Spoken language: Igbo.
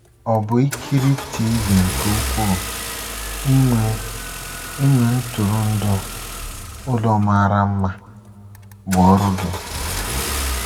Ọ̀ bụ ikiri TV nke ukwuu, inwe inwe ntụrụndụ, ụlọ mara mma, bụ ọrụ gị?